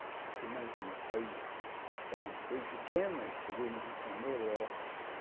Porque, imagina, eu saí de um de uma cidade bem pequena e cheguei no Rio de Janeiro. Eu era